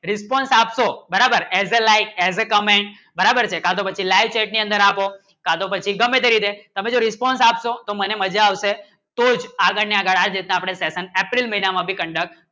response આપશો બરાબર as a like as a comment બરાબર છે પછી like આપો સાધો પછી ગમે તારી દે તમે જો response આપશો તો મને મજા આવશે તો આગળ ન આગળ ની અર્પણ april મહિના ભી conduct